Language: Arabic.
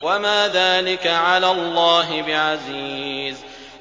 وَمَا ذَٰلِكَ عَلَى اللَّهِ بِعَزِيزٍ